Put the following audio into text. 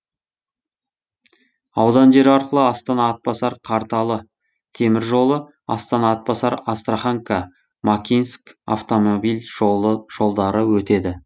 аудан жері арқылы астана атбасар қарталы темір жолы астана атбасар астраханка макинск автомобиль жолдары өтеді